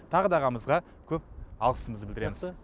тағы да ағамызға көп алғысымызды білдіреміз жақсы